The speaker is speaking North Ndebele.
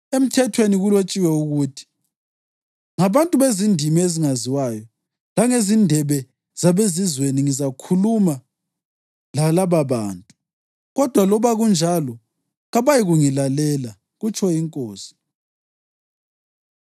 Emthethweni kulotshiwe ukuthi: “Ngabantu bezindimi ezingaziwayo langezindebe zabezizweni ngizakhuluma lalababantu, kodwa loba kunjalo kabayikungilalela, kutsho iNkosi.” + 14.21 U-Isaya 28.11-12